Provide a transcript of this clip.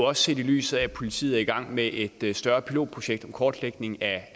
også set i lyset af at politiet er i gang med et et større pilotprojekt om kortlægning af